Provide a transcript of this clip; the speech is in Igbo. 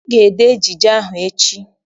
Ị ga-ede ejije ahụ echi!